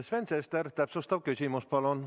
Sven Sester, täpsustav küsimus, palun!